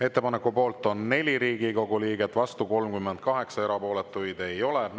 Ettepaneku poolt on 4 Riigikogu liiget, vastu 38, erapooletuid ei ole.